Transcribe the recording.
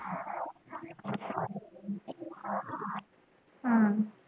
ਹਮ